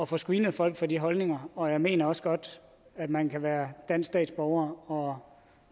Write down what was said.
få screenet folk for de holdninger og jeg mener også godt at man kan være dansk statsborger og